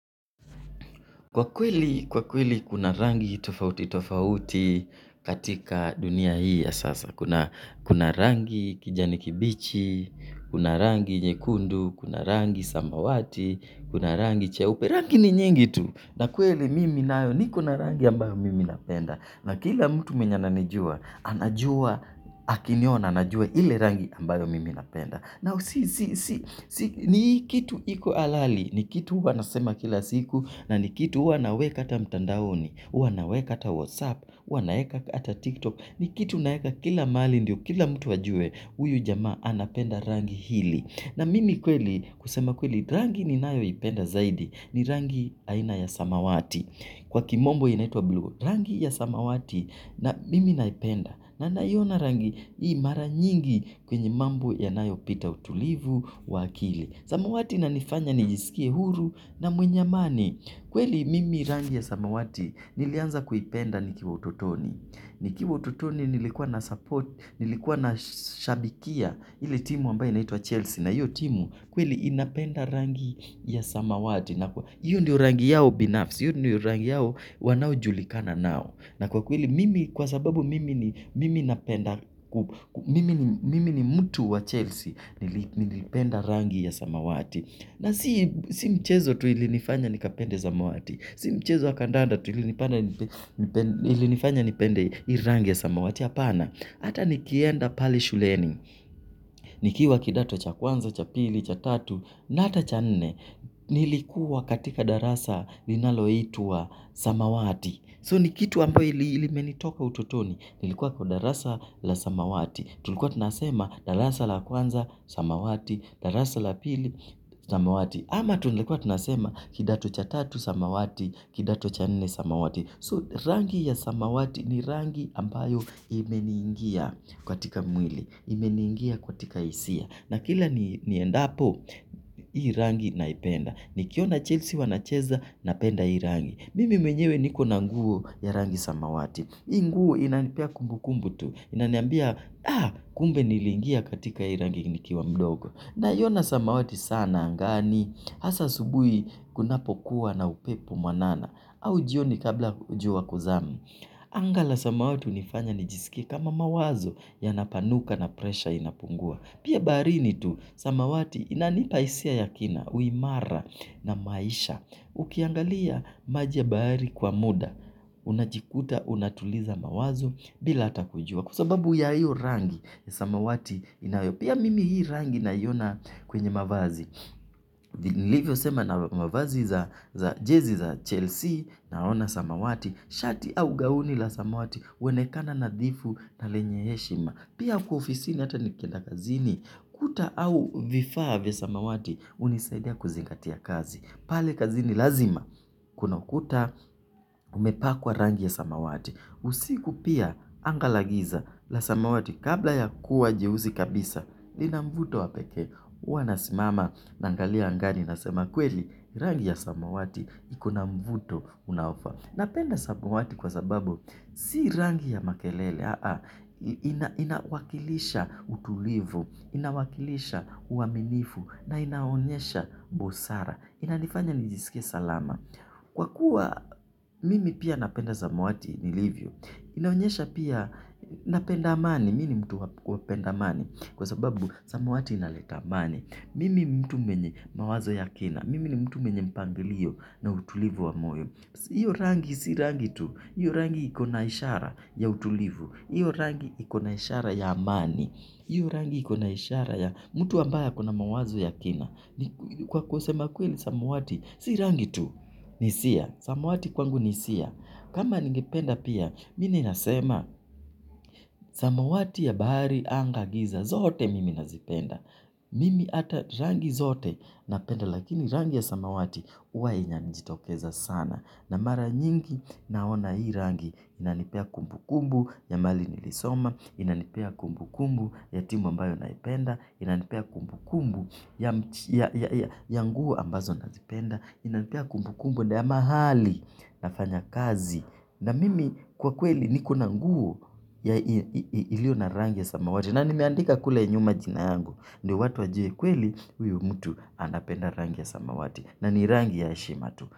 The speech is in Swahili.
Kwa kweli kuna rangi tofauti tofauti katika dunia hii ya sasa. Kuna rangi kijani kibichi, kuna rangi nyekundu, kuna rangi samawati, kuna rangi cheupe. Rangi ni nyingi tu. Na kweli mimi nayo niko na rangi ambayo mimi napenda. Na kila mtu mwenye ananijua, anajua, akiniona, anajua ile rangi ambayo mimi napenda. Ni kitu iko halali, ni kitu wanasema kila siku, na ni kitu huwa naweka hata mtandaoni, huwa naweka hata whatsapp, huwa naweka hata tiktok, ni kitu naweka kila mahali ndio, kila mtu ajue, huyu jamaa anapenda rangi hili. Na mimi kweli kusema kweli rangi ninayoipenda zaidi ni rangi aina ya samawati kwa kimombo inaitwa blue. Rangi ya samawati na mimi naipenda na niona rangi hii mara nyingi kwenye mambo yanayopita utulivu wa akili. Samawati inanifanya nijisikie huru na mwenye amani. Kweli mimi rangi ya samawati nilianza kuipenda nikiwa ututoni. Nikiwa ututoni nilikuwa na support, nilikuwa nashabikia ile timu ambayo inaitwa Chelsea. Na hiyu timu kweli inapenda rangi ya samawati. Hiyo ndio rangi yao binafsi, hiyo ndio rangi yao wanayojulikana nayo. Na kwa kweli mimi kwa sababu mimi ni mimi napenda, mimi ni mtu wa Chelsea nilipenda rangi ya samawati. Na si mchezo tu ilinifanya nikapende samawati, si mchezo wa kandanda tu ilinifanya nipende rangi ya samawati. Hapana, hata nikienda pale shuleni, nikiwa kidato cha kwanza, cha pili, cha tatu, na hata cha nne, nilikuwa katika darasa linaloitwa samawati. So ni kitu ambayo limenitoka ututoni, nilikuwa kwa darasa la samawati. Tulikuwa tunasema darasa la kwanza samawati, darasa la pili samawati. Ama tulikuwa tunasema kidato cha tatu samawati, kidato cha nne samawati. So rangi ya samawati ni rangi ambayo imeniingia katika mwili, imeniingia katika hisia. Na kila niendapo, hii rangi naipenda. Nikiona Chelsea wanacheza, napenda hii rangi. Mimi mwenyewe niko na nguo ya rangi samawati hii nguo inanipea kumbu kumbu tu. Inaniambia kumbe niliingia katika hii rangi nikiwa mdogo. Naiona samawati sana angani. Hasa asubuhi kunapokuwa na upepo mwanana. Au jioni kabla jua kuzama. Anga la samawati hunifanya nijisikie kama mawazo yanapanuka na presha inapungua. Pia baharini tu samawati inanipa hisia ya kina. Uimara na maisha. Ukiangalia maji ya bahari kwa muda unajikuta, unatuliza mawazo bila hata kujua. Kwa sababu ya hiyo rangi, samawati inayo pia mimi hii rangi naiona kwenye mavazi. Nilivyosema na mavazi za jezi za Chelsea naona samawati. Shati au gauni la samawati, huonekana nadhifu na lenye heshima. Pia kwa ofisini hata nikienda kazini. Kuta au vifaa vya samawati, hunisaidia kuzingatia kazi. Pale kazini lazima kuna ukuta umepakwa rangi ya samawati. Usiku pia anga la giza la samawati kabla ya kuwa jeusi kabisa. Lina mvuto wa pekee. Huwa nasimama naangalia angani nasema kweli rangi ya samawati ikona mvuto unaofaa. Napenda samawati kwa sababu si rangi ya makelele, inawakilisha utulivu, inawakilisha uaminifu na inaonyesha busara. Inanifanya nijisikie salama. Kwa kuwa mimi pia napenda samawati nilivyo, inaonyesha pia napenda amani, mimi ni mtu napenda amani kwa sababu samawati inaleta amani. Mimi ni mtu mwenye mawazo ya kina, mimi ni mtu mwenye mpangilio na utulivu wa moyo. Iyo rangi si rangi tu. Iyo rangi ikona ishara ya utulivu. Iyo rangi ikona ishara ya amani. Iyo rangi ikona ishara ya mtu ambaye akona mawazo ya kina. Kwa kusema kweli samawati si rangi tu. Ni hisia. Samawati kwangu ni hisia. Kama ningependa pia, mimi nasema samawati ya bahari anga giza. Zote mimi nazipenda. Mimi hata rangi zote napenda. Lakini rangi ya samawati huwa inajitokeza sana. Na mara nyingi naona hii rangi. Inanipea kumbu kumbu ya mahali nilisoma. Inanipea kumbu kumbu ya timu ambayo naipenda. Inanipea kumbu kumbu ya nguo ambazo nazipenda. Inanipea kumbu kumbu ya mahali nafanya kazi. Na mimi kwa kweli nikona nguo ya iliyo na rangi ya samawati. Na nimeandika kule nyuma jina yangu. Ndio watu wajue kweli huyu mtu anapenda rangi ya samawati. Na ni rangi ya heshima tu.